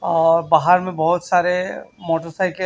और बाहर में बहुत सारे मोटरसाइकिल ।